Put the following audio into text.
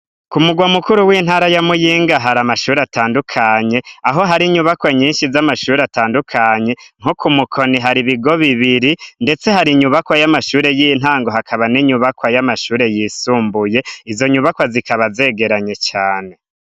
Ku murwa mukuru w'intara yamuyinga hari amashuri atandukanye aho hari inyubakwa nyinshi z'amashuri atandukanye nko ku mukoni hari ibigo bibiri, ndetse hari inyubakwa y'amashure y'intango hakaba n'inyubakwa y'amashure yisumbuye izo nyubakwa zikaba zegeranye cane.